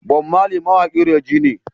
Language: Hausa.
Bom Marley mawaƙin reggae ne